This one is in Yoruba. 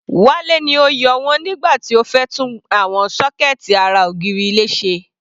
Wale ni ó yọ wọ́n nígbà tí ó fẹ́ tún àwọn sọ́kẹ̀ẹ̀tì ara ògiri ilé ṣe.